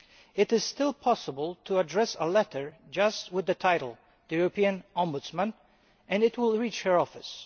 It is still possible to address a letter just with the title The European Ombudsman' and it will reach her office.